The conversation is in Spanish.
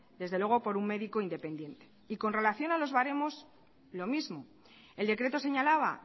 desde luego por un médico independiente y con relación a los baremos lo mismo el decreto señalaba